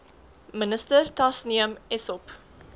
minister tasneem essop